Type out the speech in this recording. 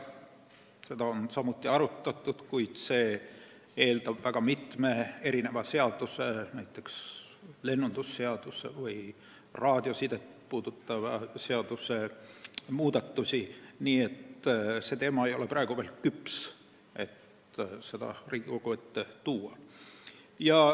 Seda on samuti arutatud, kuid kuna see eeldab juba mitme seaduse, näiteks lennundusseaduse või raadiosidet puudutava seaduse muudatusi, ei ole see praegu veel küps Riigikogu ette toomiseks.